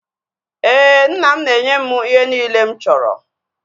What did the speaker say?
Éè, nna m na-enye m ihe niile mụ chọrọ